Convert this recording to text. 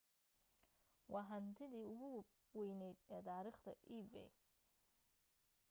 waa hantidii ugu weyneed ee taariikhda ebay